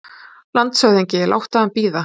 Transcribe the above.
LANDSHÖFÐINGI: Látið hann bíða!